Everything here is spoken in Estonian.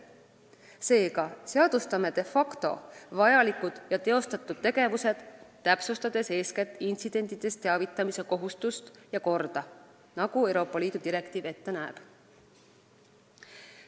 Seega seadustame de facto vajalikud ja teostatud tegevused, täpsustades eeskätt intsidentidest teavitamise kohustust ja korda, nagu Euroopa Liidu direktiiv ette näeb.